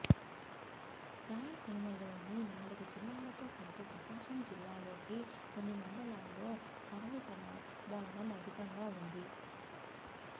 రాయలసీమలోని నాలుగు జిల్లాలతోపాటు ప్రకాశం జిల్లాలోకి కొన్ని మండలాల్లో కరవు ప్రభావం అధికంగా ఉంది